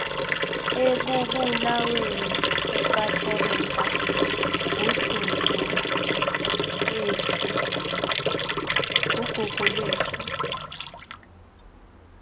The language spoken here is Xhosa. ekubulaweni kukathobeka nguguguiethu